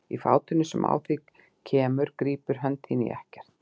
Og í fátinu sem á þig kemur grípur hönd þín í ekkert.